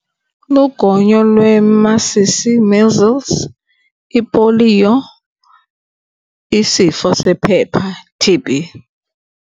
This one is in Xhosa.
Lugonyo lwemasisi, measles, ipoliyo, isifo sephepha, T_B.